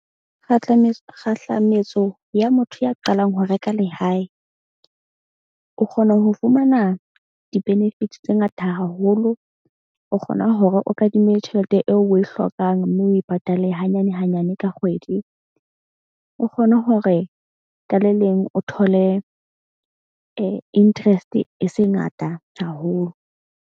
Kgahlametso ya motho ya qalang ho reka lehae. O kgona ho fumana di-benefits tse ngata haholo, o kgona hore o kadime tjhelete eo oe hlokang. Mme o e patale hanyane hanyane ka kgwedi. O kgone hore ka leleng o thole interest e se ngata haholo.